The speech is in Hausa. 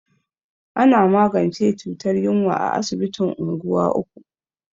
Ana magance cutar yunwa a asibitin unguwa uku.